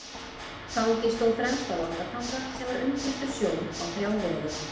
Tangi stóð fremst á Langatanga sem var umgirtur sjó á þrjá vegu.